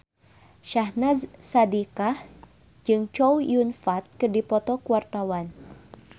Syahnaz Sadiqah jeung Chow Yun Fat keur dipoto ku wartawan